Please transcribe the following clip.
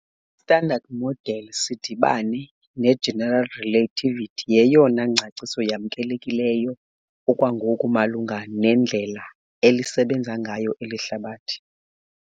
I-Standard Model sidibane neGeneral Relativity yeyona ngcaciso yamkelekileyo okwangoku malunga nendlela elisebenza ngayo eli hlabathi.